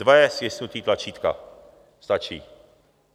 Dvojí stisknutí tlačítka stačí.